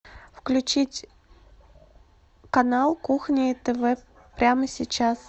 включить канал кухня тв прямо сейчас